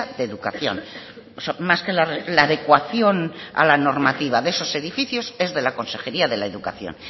de educación más que la adecuación a la normativa de esos edificios es de la consejería de educación